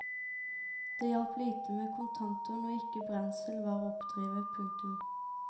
Det hjalp lite med kontanter når ikke brensel var å oppdrive. punktum